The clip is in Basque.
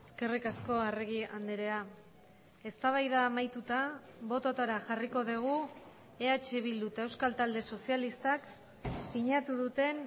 eskerrik asko arregi andrea eztabaida amaituta bototara jarriko dugu eh bildu eta euskal talde sozialistak sinatu duten